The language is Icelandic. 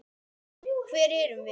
Hver erum við?